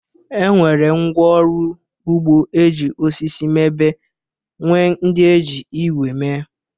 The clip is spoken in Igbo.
E nwere ngwá ọrụ ugbo e ji osisi mebe nwee ndị e ji igwe mee.